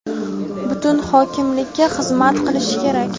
butun hokimlikka xizmat qilishi kerak.